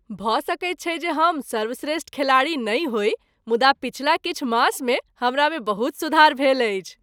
भऽ सकैत छै जे हम सर्वश्रेष्ठ खेलाड़ी नहि होइ मुदा पछिला किछु मास मे हमरा मे बहुत सुधार भेल अछि ।